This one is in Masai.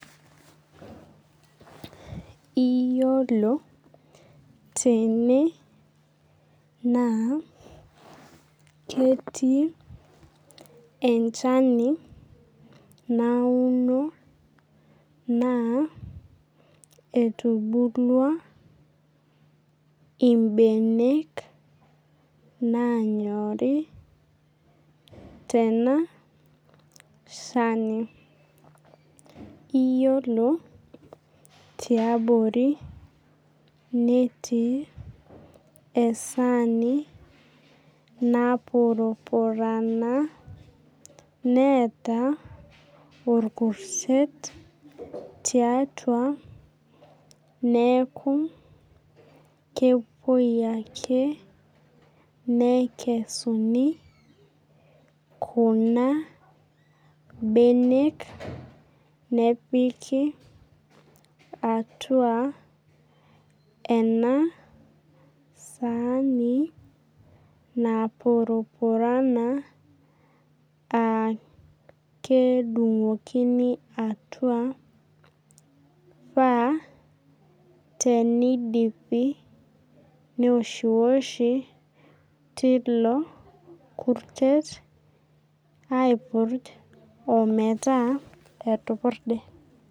Iyiolo tene naa ketii enchani nauno naa etubulua ibenek nanyorii tena shani. Iyiolo tiabori neetii esani napurupurana neeta orkurtet tiatua neeku kepuoi ake nekesuni kuna benek nepiki atua ena saani napurupurana aa kedungdungokini atua neoshi oshi torkurtet omeeta etupurde.